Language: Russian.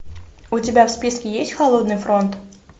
у тебя в списке есть холодный фронт